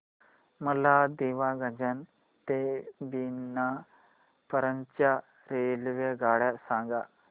मला दीवाणगंज ते बिना पर्यंत च्या रेल्वेगाड्या सांगा